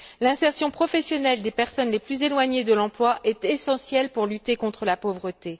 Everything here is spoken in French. L'insertion professionnelle des personnes les plus éloignées de l'emploi est essentielle pour lutter contre la pauvreté.